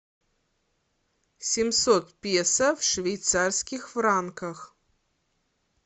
семьсот песо в швейцарских франках